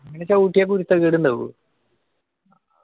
ചവുട്ടിയ കുരുത്തക്കേട് ഇണ്ടാവോ